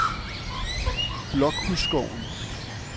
Blokhusskoven